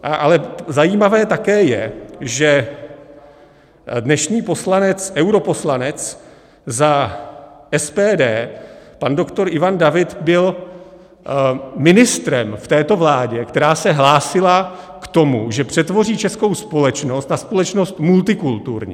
Ale zajímavé také je, že dnešní poslanec, europoslanec za SPD pan doktor Ivan David byl ministrem v této vládě, která se hlásila k tomu, že přetvoří českou společnost na společnost multikulturní.